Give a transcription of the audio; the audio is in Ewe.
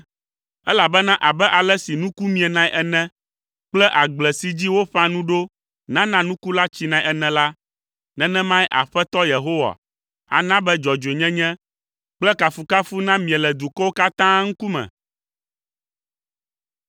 Elabena abe ale si nuku mienae ene kple agble si dzi woƒã nu ɖo nana nuku la tsinae ene la, nenemae Aƒetɔ Yehowa ana be dzɔdzɔenyenye kple kafukafu namie le dukɔwo katã ŋkume.